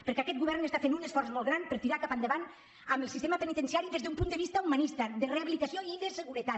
perquè aquest govern fa un esforç molt gran per tirar cap endavant el sistema penitenciari des d’un punt de vista humanista de rehabilitació i de seguretat